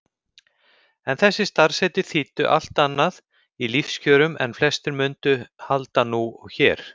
En þessi starfsheiti þýddu allt annað í lífskjörum en flestir munu halda nú og hér.